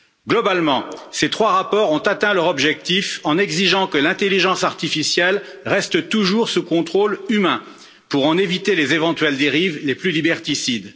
Globalement, ces trois rapports ont atteint leur objectif en exigeant que l'intelligence artificielle reste toujours sous contrôle humain pour en éviter les éventuelles dérives les plus liberticides.